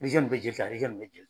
Beze n be jeli ta nin be je